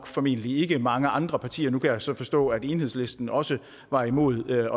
formentlig ikke mange andre partier nu kan jeg så forstå at enhedslisten også var imod at